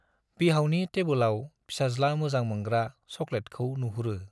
बिहावनि टेब्लआव फिसाज्ला मोजां मोनग्रा सक'लेट खौ नुहुरो ।